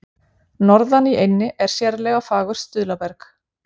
Norðan í eynni er sérlega fagurt stuðlaberg.